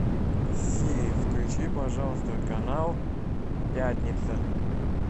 сири включи пожалуйста канал пятница